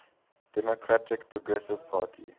democratic progressive party